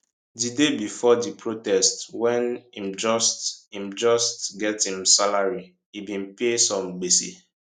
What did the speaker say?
di day bifor di protest wen im just im just get im salary e bin pay some gbese